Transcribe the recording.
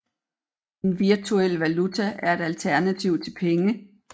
En virtuel valuta er et alternativ til penge